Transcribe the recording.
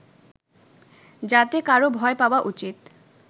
যাতে কারো ভয় পাওয়া উচিত